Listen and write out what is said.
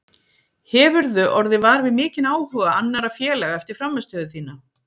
Hefurðu orðið var við mikinn áhuga annarra félaga eftir frammistöðu þína?